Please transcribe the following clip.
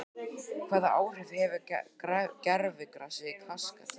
Hvaða áhrif hefur gervigrasið í Kasakstan?